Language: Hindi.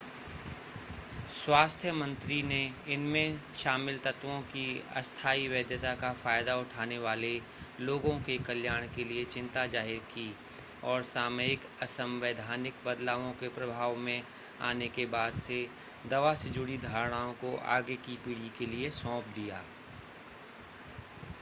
स्वास्थ्य मंत्री ने इसमें शामिल तत्वों की अस्थाई वैधता का फ़ायदा उठाने वाले लोगों के कल्याण के लिए चिंता ज़ाहिर की और सामयिक असंवैधानिक बदलावों के प्रभाव में आने के बाद से दवा से जुड़ी धारणाओं को आगे की पीढ़ी के लिए सौंप दिया